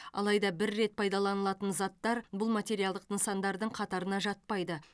алайда бір рет пайдаланылатын заттар бұл материалдық нысандардың қатарына жатпайды